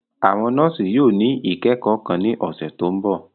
Àwọn nọọsi yóò ni ikẹkọ kan ni ọsẹ to nbọ.